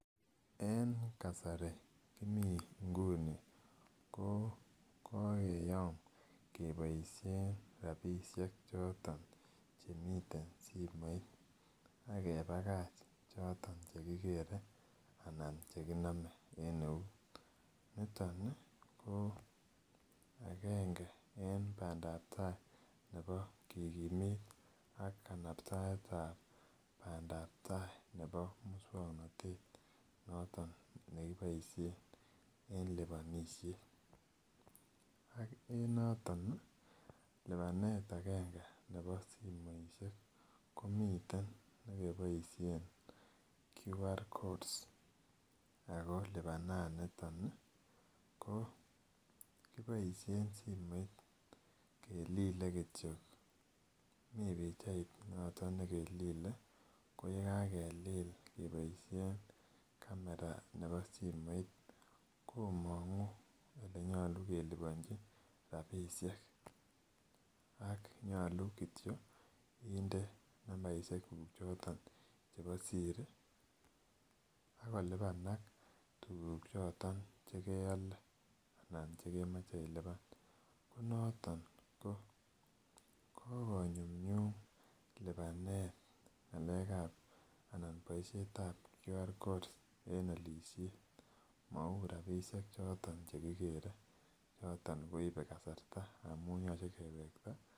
En kasari kimii nguni ko kokeyom keboisien rapisiek choton chemiten simoit ak kebakach choton chekikere anan chekinome en eut niton ih ko agenge en bandaptaa ak kikimit kanaptaetab bandaptaa nebo muswongnotet noton nekiboisien en liponisiet ak en noton ih lipanet agenge nebo simoisiek komiten nekeboisien quick recognition codes ako lipananiton ih ko kiboisien simoit kelile kityok mii pichait noton nekelile koyekakelil keboisien camera nebo simoit komongu elenyolu keliponji rapisiek ak nyolu kityok inde nambaisiek kuk choton chebo siri ak kolipanak tuguk choton chekeole anan chekemoche ilipan ko noton ko kokonyumnyum lipanet ng'alek ab anan boisiet ab quick recognition codes en olisiet mou rapisiek choton chekikere choton koibe kasarta amun yoche kewekta